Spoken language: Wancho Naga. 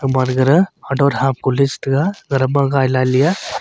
gaman gada le chi taiga ngai lah le a.